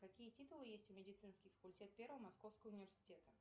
какие титулы есть у медицинский факультет первого московского университета